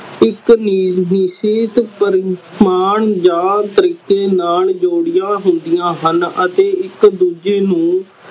ਇਕ ਪ੍ਰਮਾਣ ਨਾਲ ਜ਼ੋਰੀਆ ਹੁੰਦੀਆਂ ਹਨ ਅਤੇ ਇਕ ਦੂਜੇ ਨੂੰ